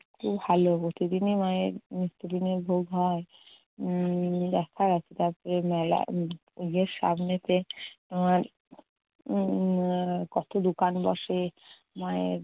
খুব ভালো, প্রতিদিনই মায়ের নিত্যদিনের ভোগ হয়। উম দেখার আছে তারপরে মেলা উম পুজোর সামনেতে উম কতো দোকান বসে। মায়ের